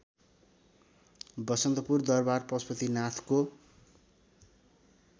बसन्तपुर दरबार पशुपतिनाथको